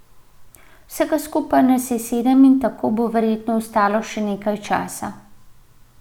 Vsega skupaj nas je sedem in tako bo verjetno ostalo še nekaj časa.